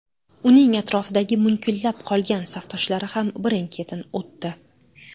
Uning atrofidagi munkillab qolgan safdoshlari ham birin-ketin o‘tdi.